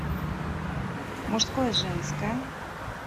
мужское женское